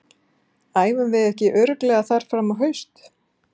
Æfum við ekki örugglega þar fram á haust?